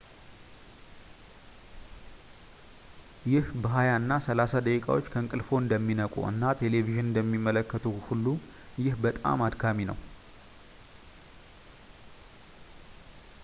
ይህ በየሃያ እና ሰላሳ ደቂቃዎች ከእንቅልፍዎ እንደሚነቁ እና ቴሌቪዥን እንደሚመለከቱ ሁሉ ይህ በጣም አድካሚ ነው